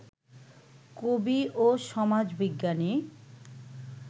কবি ও সমাজবিজ্ঞানী